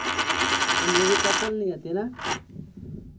એ movie couple ની હતી ને